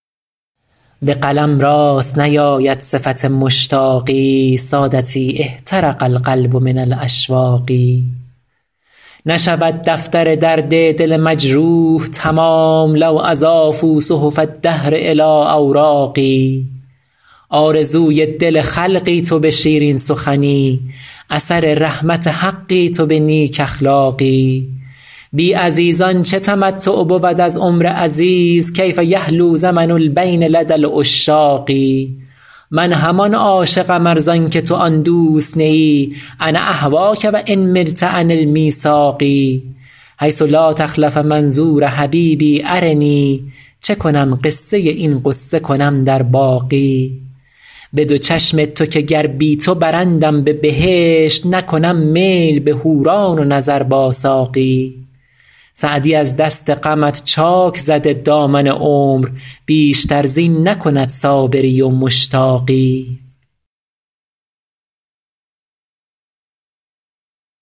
به قلم راست نیاید صفت مشتاقی سادتی احترق القلب من الاشواق نشود دفتر درد دل مجروح تمام لو اضافوا صحف الدهر الی اوراقی آرزوی دل خلقی تو به شیرین سخنی اثر رحمت حقی تو به نیک اخلاقی بی عزیزان چه تمتع بود از عمر عزیز کیف یحلو زمن البین لدی العشاق من همان عاشقم ار زان که تو آن دوست نه ای انا اهواک و ان ملت عن المیثاق حیث لا تخلف منظور حبیبی ارنی چه کنم قصه این غصه کنم در باقی به دو چشم تو که گر بی تو برندم به بهشت نکنم میل به حوران و نظر با ساقی سعدی از دست غمت چاک زده دامن عمر بیشتر زین نکند صابری و مشتاقی